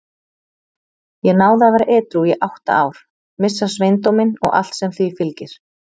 Ég náði að vera edrú í átta ár, missa sveindóminn og allt sem því fylgir.